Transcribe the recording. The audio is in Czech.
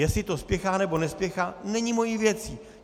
Jestli to spěchá, nebo nespěchá, není mou věcí.